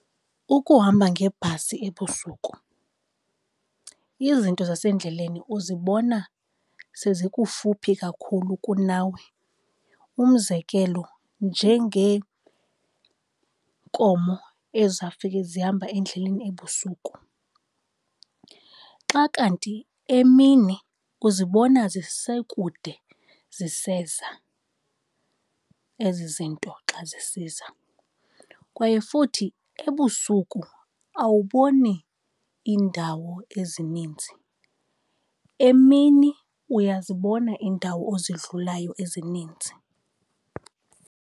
Ukuhamba ngebhasi ebusuku izinto zasendleleni uzibona sezikufuphi kakhulu kunawe. Umzekelo, njengeenkomo ezawufike zihamba endleleni ebusuku, xa kanti emini uzibona zisekude ziseza ezi zinto xa zisiza. Kwaye futhi ebusuku awuboni iindawo ezininzi. Emini uyazibona iindawo ozidlulayo ezininzi.